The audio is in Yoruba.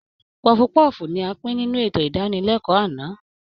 Pọọfu-pọ́ọ̀fù ni a pín nínú ètò ìdánilẹ́kọ̀ọ́ àná